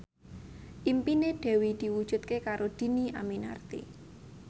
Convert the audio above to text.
impine Dewi diwujudke karo Dhini Aminarti